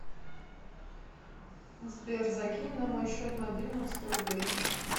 сбер закинь на мой счет мобильного сто рублей